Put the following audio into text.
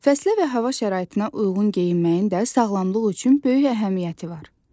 Fəslə və hava şəraitinə uyğun geyinməyin də sağlamlıq üçün böyük əhəmiyyəti var.